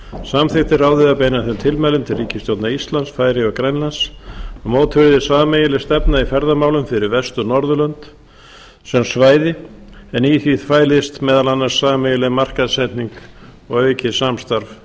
samþykkti ráðið að beina þeim tilmælum til ríkisstjórna íslands færeyja og grænlands að mótuð yrði sameiginleg stefna í ferðamálum fyrir vestur norðurlönd sem svæði en í því fælist meðal annars sameiginleg markaðssetning og aukið samstarf